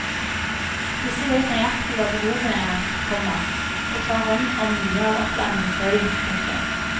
Disse vet nøyaktig hva behovene er, komma og tar hånd om mye av opplæringen selv. punktum